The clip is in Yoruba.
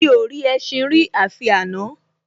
Mi ò rí ẹṣin rí àfi àná